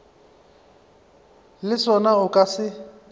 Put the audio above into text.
le sona o ka se